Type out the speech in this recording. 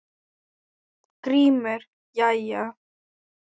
GRÍMUR: Jæja!